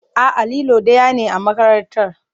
A'a, lilo ɗaya ne a makarantar.